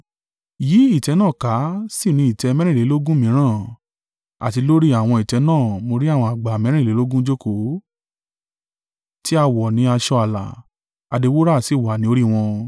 Yí ìtẹ́ náà ká sì ni ìtẹ́ mẹ́rìnlélógún mìíràn; àti lórí àwọn ìtẹ́ náà mo rí àwọn àgbà mẹ́rìnlélógún jókòó, tí a wọ̀ ni aṣọ àlà; adé wúrà sì wà ni orí wọn.